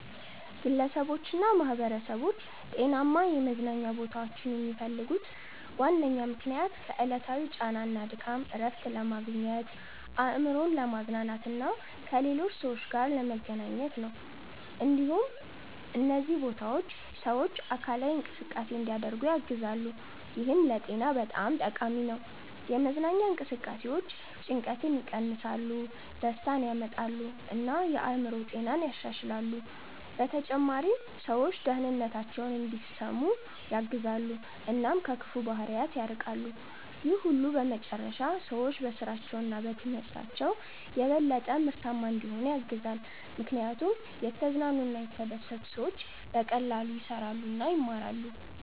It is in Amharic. ግለሰቦችና ማኅበረሰቦች ጤናማ የመዝናኛ ቦታዎችን የሚፈልጉት ዋነኛ ምክንያት ከዕለታዊ ጫና እና ድካም እረፍት ለማግኘት፣ አእምሮን ለማዝናናት እና ከሌሎች ሰዎች ጋር ለመገናኘት ነው። እንዲሁም እነዚህ ቦታዎች ሰዎች አካላዊ እንቅስቃሴ እንዲያደርጉ ያግዛሉ፣ ይህም ለጤና በጣም ጠቃሚ ነው። የመዝናኛ እንቅስቃሴዎች ጭንቀትን ይቀንሳሉ፣ ደስታን ያመጣሉ እና የአእምሮ ጤናን ያሻሽላሉ። በተጨማሪም ሰዎች ደህንነታቸውን እንዲሰሙ ያግዛሉ እና ከክፉ ባህሪያት ይርቃሉ። ይህ ሁሉ በመጨረሻ ሰዎች በስራቸው እና በትምህርታቸው የበለጠ ምርታማ እንዲሆኑ ያግዛል፣ ምክንያቱም የተዝናኑ እና የተደሰቱ ሰዎች በቀላሉ ይሰራሉ እና ይማራሉ።